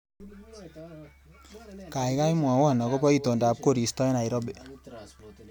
Gaigai mwawon agoba itondab koristo eng Nairobi